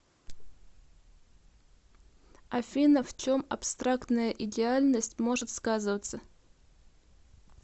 афина в чем абстрактная идеальность может сказываться